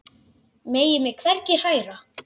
Megi mig hvergi hræra.